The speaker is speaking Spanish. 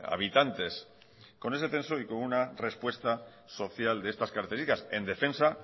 habitantes con ese censo y con una respuesta social de estas características en defensa